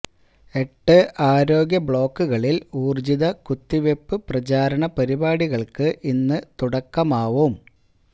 എട്ട് ആരോഗ്യ ബ്ലോക്കുകളില് ഊര്ജിത കുത്തിവെപ്പു പ്രചാരണ പരിപാടികള്ക്ക് ഇന്നു തുടക്കമാവും